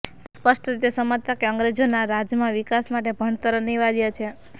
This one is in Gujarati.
તે સ્પષ્ટ રીતે સમજતા કે અંગ્રેજોના રાજમાં વિકાસ માટે ભણતર અનિવાર્ય છે